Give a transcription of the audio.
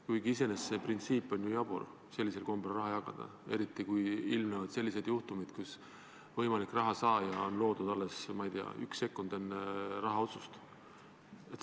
Kuigi iseenesest see printsiip, et sellisel kombel raha jagada, on ju jabur, eriti kui ilmnevad sellised juhtumid, et võimalik rahasaaja on loodud alles, ma ei tea, üks sekund enne rahastamisotsust.